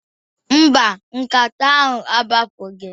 Mba, gasket ahụ agbapụghị